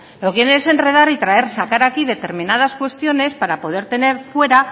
lo que quieren es enredar y traer sacar aquí determinadas cuestiones para poder tener fuera